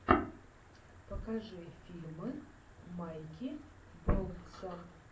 покажи фильмы майки болтса